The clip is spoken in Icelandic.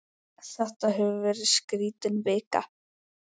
Þetta hefur verið skrítin vika.